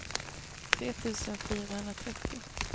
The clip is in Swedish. tre tusen fyrahundratrettio